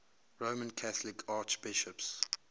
roman catholic archbishops